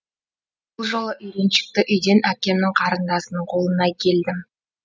бұл жолы үйреншікті үйден әкемнің қарындасының қолына келдім